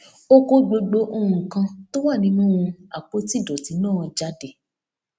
ó kó gbogbo nǹkan tó wà nínú àpótí ìdòtí náà jáde